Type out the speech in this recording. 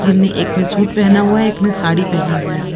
जिन्हने एक ने सूट पहना हुआ है एक ने साड़ी पेहनी हुई है।